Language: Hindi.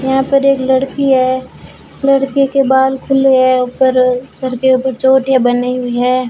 यहां पर एक लड़की है लड़की के बाल खुले है ऊपर सिर के ऊपर चोटियां बनी हुई है।